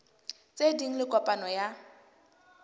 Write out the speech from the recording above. tse ding le kopano ya